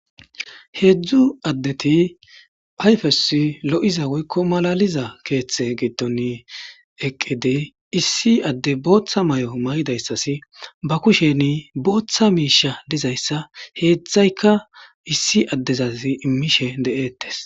Heedzdzu addeti phayfeos lo7iza woykko malaliza keeththe geeton eqqidey issi adde booththa may'o may7idayssasi ba kusheni booththa miisha dizayssa heedzdzayka issi addezaz immishe de'ettes.